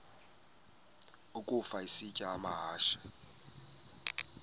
ukafa isitya amahashe